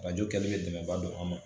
Arajo kɛli bɛ dɛmɛba don an ma